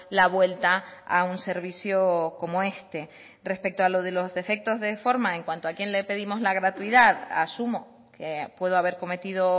la vuelta a un servicio como este respecto a lo de los defectos de forma en cuanto a quién le pedimos la gratuidad asumo que puedo haber cometido